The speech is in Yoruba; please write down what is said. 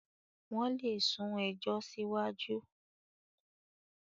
wón lè sún ejò siwaju.